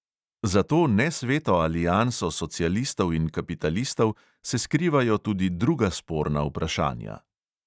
Za to nesveto alianso socialistov in kapitalistov se skrivajo tudi druga sporna vprašanja.